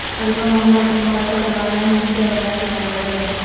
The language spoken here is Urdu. علامہ محمد اقبال کو ترانہ ہند کے اعزاز سے نوازا گیا